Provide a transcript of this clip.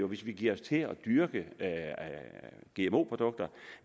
hvis vi giver os til at dyrke gmo produkter